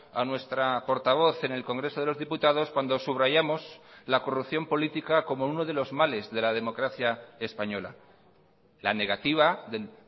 a nuestra portavoz en el congreso de los diputados cuando subrayamos la corrupción política como uno de los males de la democracia española la negativa del